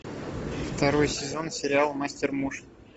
второй сезон сериал мастер муж